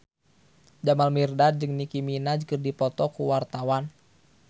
Jamal Mirdad jeung Nicky Minaj keur dipoto ku wartawan